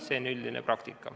See on üldine praktika.